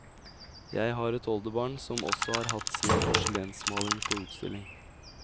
Jeg har et oldebarn som også har hatt sin porselensmaling på utstilling.